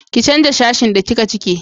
ki canja sashin da kika cike!